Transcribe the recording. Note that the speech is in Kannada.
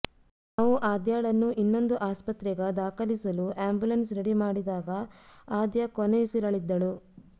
ನಾವು ಆದ್ಯಾಳನ್ನು ಇನ್ನೊಂದು ಆಸ್ಪತ್ರೆಗ ದಾಖಲಿಸಲು ಆ್ಯಂಬುಲೆನ್ಸ್ ರೆಡಿ ಮಾಡಿದಾಗ ಆದ್ಯಾ ಕೊನೆಯುಸಿರೆಳಿದ್ದಳು